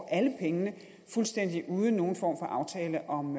alle pengene fuldstændig uden nogen form for aftale om